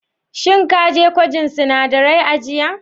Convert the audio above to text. Shin ka zo gwajin sinadarai a jiya?